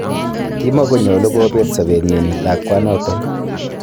Kimogonyolu kobeet sobenyin lakwanoton.